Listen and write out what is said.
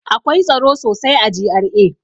Akwai tsaro sosai a GRA.